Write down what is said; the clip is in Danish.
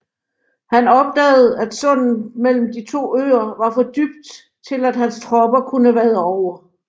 Han opdagede at sundet mellem de to øer var for dybt til at hans tropper kunne vade over